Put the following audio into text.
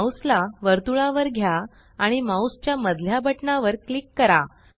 mouse ला वर्तुळा वर घ्या आणि माउस च्या मधल्या बटना वर क्लिक करा